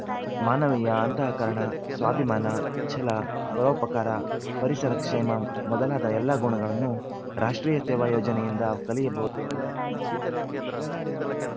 ಮಾನವೀಯ ಅಂತಃಕರಣ ಸ್ವಾಭಿಮಾನ ಛಲ ಪರೋಪಕಾರ ಪರಿಸರ ಕ್ಷೇಮ ಮೊದಲಾದ ಎಲ್ಲ ಗುಣಗಳನ್ನು ರಾಷ್ಟ್ರೀಯ ಸೇವಾ ಯೋಜನೆಯಿಂದ ಕಲಿಯಬಹುದು ಎಂದರು